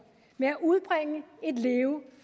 med at udbringe et leve